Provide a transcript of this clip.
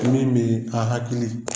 bɛ a hakili